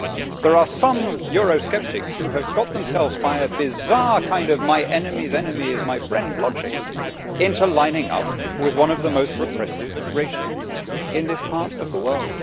There are some Eurosceptics who have got themselves, by a bizarre kind of my enemy's enemy is my friend' logic, into lining up with one of the most repressive regimes in this part of the world.